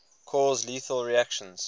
cause lethal reactions